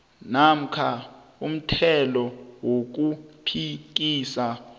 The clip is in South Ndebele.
namkha umthelo wokuphikisa